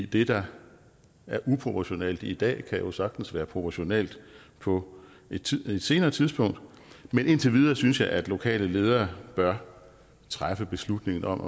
det der er uproportionalt i dag kan jo sagtens være proportionalt på et senere tidspunkt men indtil videre synes jeg at de lokale ledere bør træffe beslutningen om